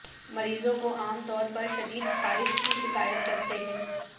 مریضوں کو عام طور پر شدید خارش کی شکایت کرتے ہیں